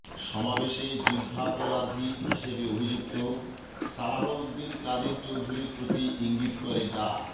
সমাবেশে যুদ্ধাপরাধী হিসেবে অভিযুক্ত সালাহউদ্দিন কাদের চৌধুরীর প্রতি ইঙ্গিত করে ডা